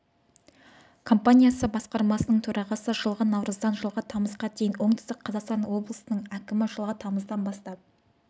компаниясы басқармасының төрағасы жылғы наурыздан жылғы тамызға дейін оңтүстік қазақстан облысының әкімі жылғы тамыздан бастап